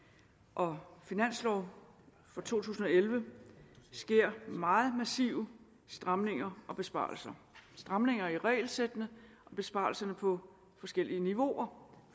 og finanslov for to tusind og elleve sker meget massive stramninger og besparelser stramninger i regelsættene og besparelser på forskellige niveauer